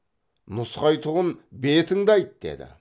нұсқайтұғын бетіңді айт деді